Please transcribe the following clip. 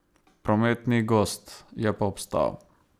Promet ni gost, je pa obstal.